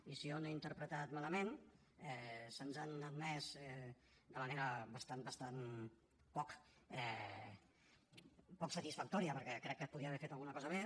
i si jo no ho he interpretat malament se’ns han admès de manera bastant poc satisfactòria perquè crec que es podia haver fet alguna cosa més